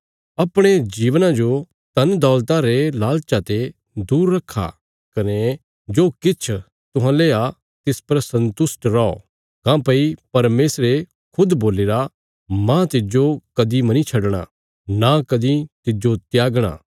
अपणे जीवना जो धनदौलता रे लालचा ते दूर रखा कने जो किछ तुहांले आ तिस पर सन्तुष्ट रौ काँह्भई परमेशरे खुद बोलीरा मांह तिज्जो कदीं मनीं छडणा नां कदीं तिज्जो त्यागणा